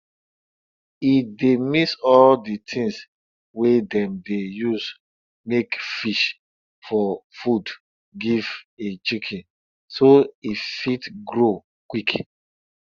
e dey mix all di things wey dem dey use make fish for food give im chicken so e fit grow quick